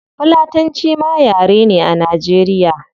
Fulatanci ma yare ne a nigeria